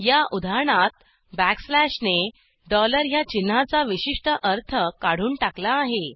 या उदाहरणात बॅकस्लॅश ने ह्या चिन्हाचा विशिष्ट अर्थ काढून टाकला आहे